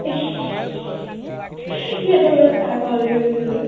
সিহঁতৰ ঘৰত চাহ খাবলৈ গৈছিলো।